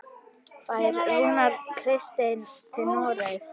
Fer Rúnar Kristins til Noregs?